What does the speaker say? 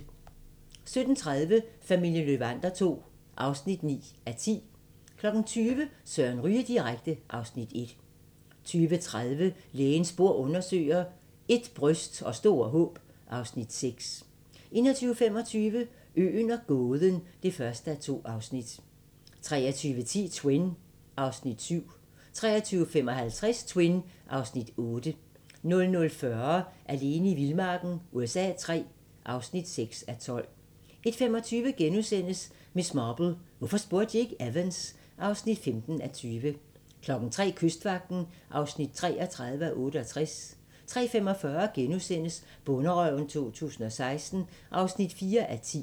17:30: Familien Löwander II (9:10) 20:00: Søren Ryge direkte (Afs. 1) 20:30: Lægens bord undersøger: Ét bryst og store håb (Afs. 6) 21:25: Øen og gåden (1:2) 23:10: Twin (Afs. 7) 23:55: Twin (Afs. 8) 00:40: Alene i vildmarken USA III (6:12) 01:25: Miss Marple: Hvorfor spurgte de ikke Evans? (15:20)* 03:00: Kystvagten (33:68) 03:45: Bonderøven 2016 (4:10)*